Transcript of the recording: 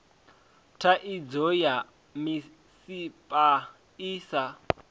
thaidzo ya misipha i sa